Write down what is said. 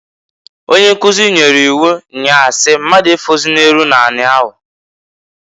Onye nkuzi nyere iwu nnyaa si, "Mmadụ efozịna eru n'ani ahu!"